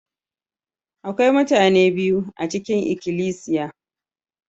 Akwai mutane biyu a cikin ikilisiya.